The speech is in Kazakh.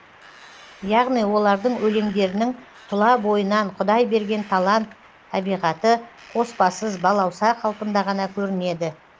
яғни олардың өлеңдерінің тұла бойынан құдай берген талант табиғаты қоспасыз балауса қалпында ғана көрінеді